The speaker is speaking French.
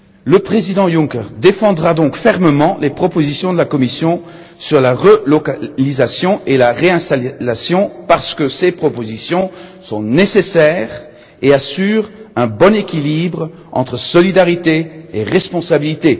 Le président Juncker défendra donc fermement les propositions de la Commission sur la relocalisation et la réinstallation, parce que ces propositions sont nécessaires et qu'elles assurent un bon équilibre entre solidarité et responsabilité.